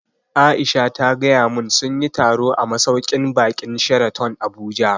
Aisha ta gaya mun sunyi taro a masauƙin baƙin Sheraton Abuja